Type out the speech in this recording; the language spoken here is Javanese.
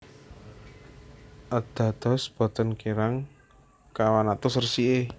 A Dados boten kirang kawan atus resiké